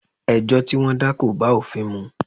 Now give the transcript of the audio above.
Ẹjọ́ tí wọ́n dá kò bá òfin mu.